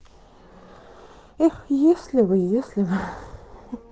эх если бы если бы